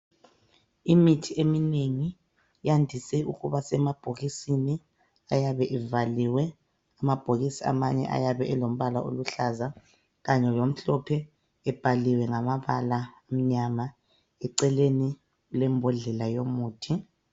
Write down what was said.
Imithi eminengi yandise ukuba semabhokisini ayabe evaliwe, amabhokisi amanye ayabe elombala oluhlaza kanye lomhlophe ebhaliwe ngamabala amnyama, eceleni kulembodlela yomuthi.